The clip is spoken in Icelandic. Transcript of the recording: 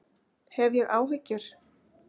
Hef ég áhyggjur?